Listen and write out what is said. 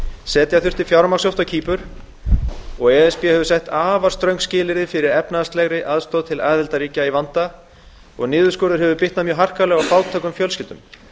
setja þurfti fjármagnshöft á kýpur e s b hefur sett afar ströng skilyrði fyrir efnahagslegri aðstoð til aðildarríkja í vanda og niðurskurður hefur bitnað mjög harkalega á fátækum fjölskyldum